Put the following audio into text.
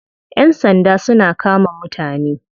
Yan sanda suna kama mutane.